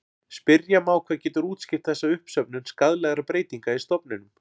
Spyrja má hvað getur útskýrt þessa uppsöfnun skaðlegra breytinga í stofninum.